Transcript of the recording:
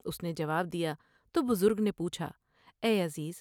اس نے جواب دیا تو بزرگ نے پوچھا ۔" اے عزیز!